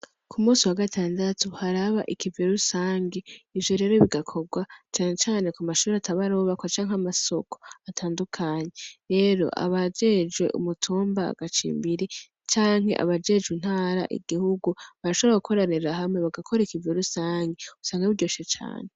Kumusi wa gatandatu haraba ikivi rusangi ivyo rero bigakorwa cane cane kumashure atabarubakwa canke kumasoko atandukanye, rero abajejwe umutumba agacimbiri canke abajejwe intara ,igihugu barashobora gukoranira hamwe bagakora ikivi rusangi, usanga biryoshe cane.